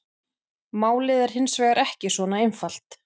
Málið er hins vegar ekki svona einfalt.